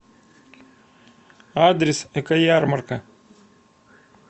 адрес экоярмарка